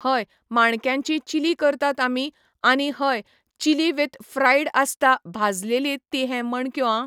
हय माणक्यांची चिली करतात आमी आनी हय चिली वीथ फ्रायड आसता भाजलेली ती हें माणक्यो आं